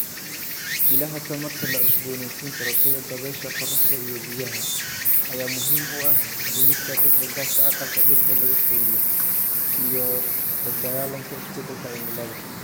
Ilaha tamarta la cusboonaysiin karo sida dabaysha, qorraxda, iyo biyaha ayaa muhiim u ah dhimista qiiqa gaaska aqalka dhirta lagu koriyo iyo la dagaallanka isbedelka cimilada.